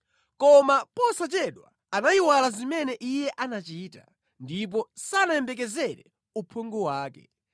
Koma posachedwa anayiwala zimene Iye anachita, ndipo sanayembekezere uphungu wake.